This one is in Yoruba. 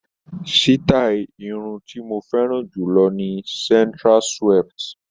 Sítáì irun tí mo fẹ́ràn jù lọ ni centre swept.